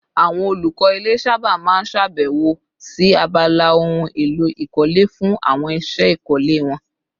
Àwọn olùkọ́ ilé sábà máa ń ṣèbẹ̀wò sí abala ohun èlò ìkọ́lé fún àwọn iṣẹ́ ìkọ́lé wọn